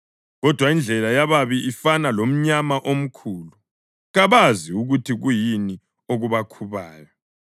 Kodwa indlela yababi ifana lomnyama omkhulu; kabazi ukuthi kuyini okubakhubayo.